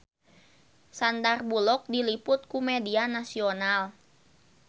Sandar Bullock diliput ku media nasional